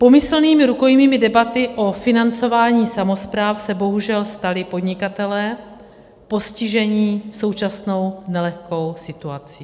Pomyslnými rukojmími debaty o financování samospráv se bohužel stali podnikatelé postižení současnou nelehkou situací.